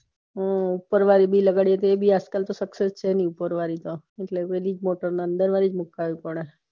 હમ ઉપર વળી લગાવ્યે તો એ ભી અજ કાલ scuccess છે નાય ઉપર વારી તો અંદર વલીજ મુકવી પડે